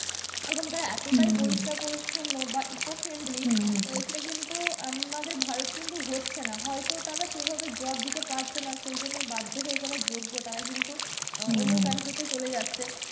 এবং তারা এতটাই পরিষ্কার পরিচ্ছন্ন বা eco friendly সেটা কিন্তু আমাদের ভারত কিন্তু হচ্ছে না, হয়তো তারা সেভাবে job দিতে পারছে না সেইজন্য বাধ্য হয়ে যারা যোগ্য তারা কিন্তু অন্য country তে চলে যাচ্ছে,